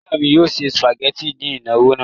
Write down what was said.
Ìyá mi yóò se sìpàgẹ́tì ní ìnáwó náà.